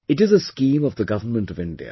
It is a scheme of the Government of India